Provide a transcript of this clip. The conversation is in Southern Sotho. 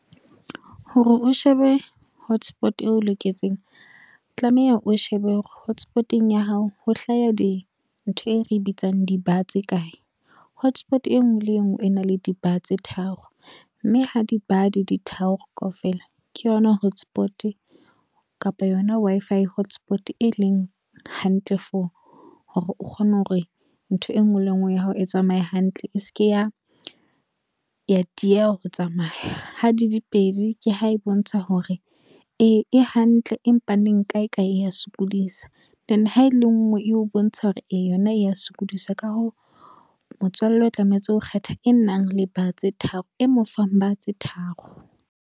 Hore o shebe hotspot eo o loketseng, tlameha o shebe hore hotspot-eng ya hao ho hlaya di, ntho e re bitsang di-bar tse kae. Hotspot e ngwe le e ngwe e na le di-bar tse tharo, mme ha di-bar di tharo kaofela ke yona hotspot kapa yona Wi-Fi hotspot e leng hantle for hore o kgone hore ntho e ngwe le e ngwe ya hao e tsamaye hantle, e se ke ya dieha ho tsamaya. Ha di di pedi, ke ha e bontsha hore e hantle empa neng kae kae ya sokodisa then ha ele ngwe, e o bontsha hore e yona ya sokodisa ka hoo, motswalle o tlametse ho kgetha e nang le bar tse tharo e mofang bar tse tharo.